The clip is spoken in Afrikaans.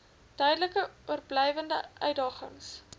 duidelik oorblywende uitdagings